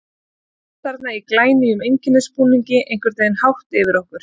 Hann stóð þarna í glænýjum einkennisbúningi, einhvern veginn hátt yfir okkur.